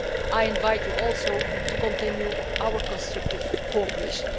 I invite you also to continue our constructive cooperation.